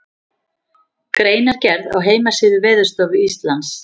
Greinargerð á heimasíðu Veðurstofu Íslands.